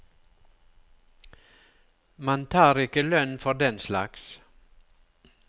Man tar ikke lønn for den slags.